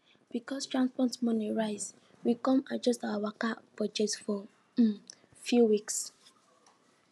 because transport money rise we come adjust our waka budget for um few weeks